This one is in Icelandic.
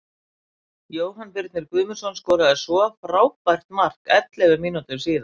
Jóhann Birnir Guðmundsson skoraði svo frábært mark ellefu mínútum síðar.